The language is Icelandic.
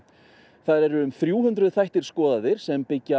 þar eru yfir þrjú hundruð skoðaðir sem byggja